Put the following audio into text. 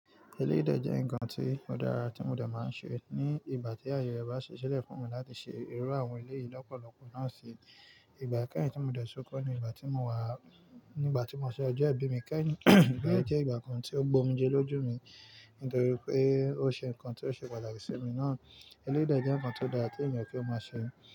Eléyìí dẹ̀ jẹ́ nǹkan tí ó dára tí mo dẹ̀ máa ń ṣe ní ìgbà tí ààyè rẹ bá ṣi sílẹ̀ fún mi láti ṣe irú àwọn eléyìí lọ́pọ̀lọpọ̀ náà ṣe. Ìgbà kẹ́yìn tí mo dẹ́sọkọ́ ni ìgbà tí mo wà, nígbà tí mo ṣe ọjọ́ ìbí mi. Kẹ́yìn ìgbà jẹ́ ìgbà kan tí ó gbómi jẹ lójú mi nítorí pé ó ṣe nǹkan tí ó ṣe pàtàkì sí mi náà. Eléyìí jẹ́ nǹkan tó dára kí ènìyàn kí ó máa ṣe.